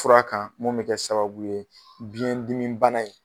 Fura kan mun be kɛ sababu ye biɲɛ dimi bana in